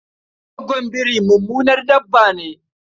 Gwaggon biri mummunan dabba ne.